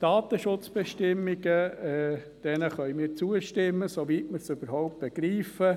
Den Datenschutzbestimmungen können wir zustimmen, soweit wir sie überhaupt begreifen.